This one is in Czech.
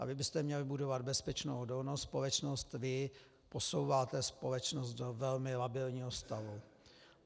A vy byste měli budovat bezpečnou odolnou společnost, vy posouváte společnost do velmi labilního stavu.